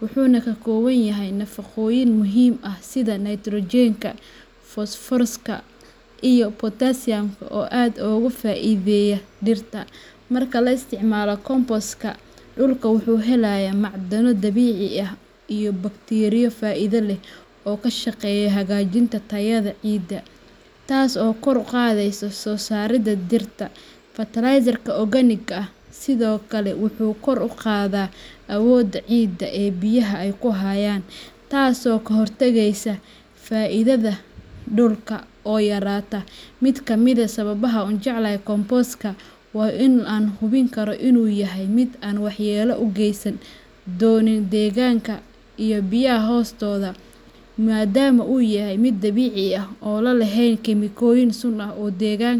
Waxa uu ka kooban yahay nafaqooyin muhiim ah sida nitrogenka, fosfooraska, iyo potassiumka oo aad ugu faa’iideeya dhirta. Markii la isticmaalo compostka, dhulku wuxuu helayaa macdano dabiici ah iyo bakteeriyo faa’iido leh oo ka shaqeeya hagaajinta tayada ciidda, taas oo kor u qaadaysa soo saaridda dhirta. Fertilizerka organika sidoo kale wuxuu kor u qaadaa awoodda ciidda ee biyaha ay ku hayaan, taasoo ka hortagaysa faaiidada dhulka oo yaraata. Mid ka mid ah sababaha aan u jecelahay compostka waa in aan hubin karo in uu yahay mid aan waxyeello u geysan doonin deegaanka iyo biyaha hoostooda, maadaama uu yahay mid dabiici ah oo aan lahayn kiimikooyin sun ah oo deegaanka.